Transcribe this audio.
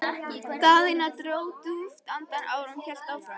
Daðína dró djúpt andann áður en hún hélt áfram.